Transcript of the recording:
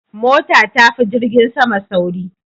Mota tafi jirgin sama sauri